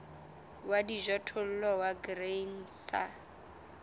wa dijothollo wa grain sa